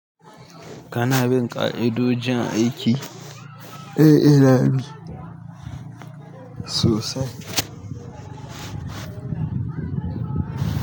Kana bin ƙa'idojin aiki? Eh, ina bi sosai.